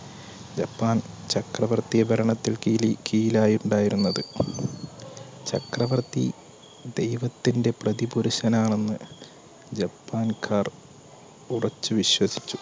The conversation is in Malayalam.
ജപ്പാൻ ചക്രവർത്തിഭരണത്തിൽ കീലി കീഴിലായിരു ണ്ടായിരുന്നത് ചക്രവർത്തി ദൈവത്തിന്റെ പ്രതിപുരുഷനാണെന്ന് ജപ്പാൻക്കാർ ഉറച്ച് വിശ്വസിച്ചു